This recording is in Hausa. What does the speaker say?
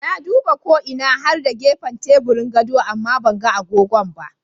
Na duba ko ina har da gefan teburin gado amma banga agogon ba.